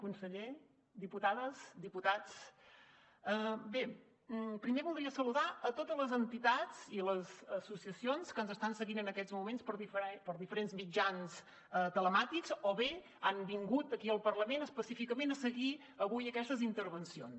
conseller diputades diputats bé primer voldria saludar a totes les entitats i les associacions que ens estan seguint en aquests moments per diferents mitjans telemàtics o bé han vingut aquí al parlament específicament a seguir avui aquestes intervencions